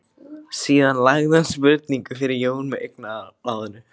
Síðan lagði hún spurningu fyrir Jón með augnaráðinu.